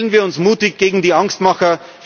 Stellen wir uns mutig gegen die Angstmacher!